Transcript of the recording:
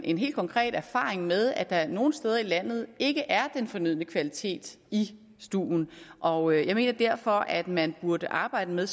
en helt konkret erfaring med at der nogle steder i landet ikke er den fornødne kvalitet i stuen og jeg mener derfor at man burde arbejde med